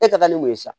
E ka taa ni mun ye sa